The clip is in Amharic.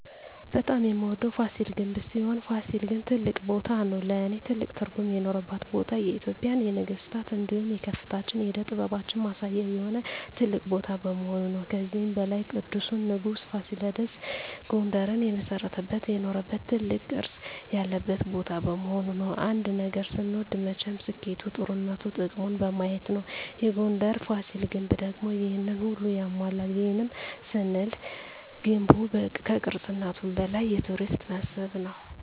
በጣም የምወደዉ ፋሲል ግንብ ሲሆን ፋሲል ግን ትልቅ ቦታም ነዉ ለእኔ ትልቅ ትርጉም የኖረባት ቦታ የኢትጵያን የነገስታት እንዲሁም የከፍታችን የእደ ጥበባችን ማሳያ የሆነ ትልቅ ቦታ በመሆኑ ነዉ። ከዚህም በላይ ቅዱሱ ንጉስ ፋሲለደስ ጉንደርን የመሰረተበት የኖረበት ትልቅ ቅርስ ያለበት ቦታ በመሆኑ ነዉ። አንድ ነገር ስንወድ መቸም ስኬቱ ጥሩነቱ ጥቅሙን በማየት ነዉ የጉንደሩ ፋሲል ግንብ ደግሞ ይሄንን ሁሉ ያሟላል ይህንንም ስንል ገንቡ ከቅርስነቱም በላይ የቱሪስት መስህብ ነዉ።